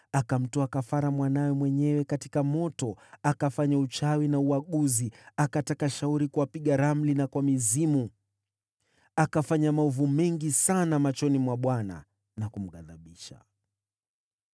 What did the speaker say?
Akamtoa kafara mwanawe mwenyewe katika moto, akafanya uchawi na uaguzi, na akataka shauri kwa wapiga ramli na kwa mizimu. Akafanya maovu mengi sana machoni mwa Bwana na kumghadhibisha.